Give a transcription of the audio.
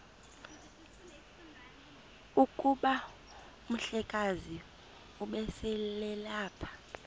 kuba umhlekazi ubeselelapha